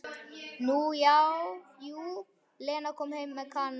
Nú já, jú, Lena kom heim með Kana.